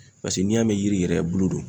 Paseke n'i y'a mɛn yiri yɛrɛ bulu do.